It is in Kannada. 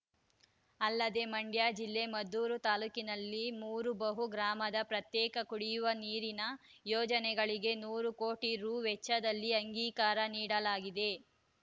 ಅಲ್ಲದೆ ಮಂಡ್ಯ ಜಿಲ್ಲೆ ಮದ್ದೂರು ತಾಲೂಕಿನಲ್ಲಿ ಮೂರು ಬಹು ಗ್ರಾಮದ ಪ್ರತ್ಯೇಕ ಕುಡಿಯುವ ನೀರಿನ ಯೋಜನೆಗಳಿಗೆ ನೂರು ಕೋಟಿ ರು ವೆಚ್ಚದಲ್ಲಿ ಅಂಗೀಕಾರ ನೀಡಲಾಗಿದೆ